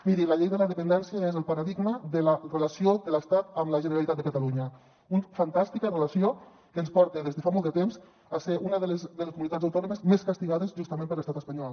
miri la llei de la dependència és el paradigma de la relació de l’estat amb la generalitat de catalunya una fantàstica relació que ens porta des de fa molt de temps a ser una de les comunitats autònomes més castigades justament per l’estat espanyol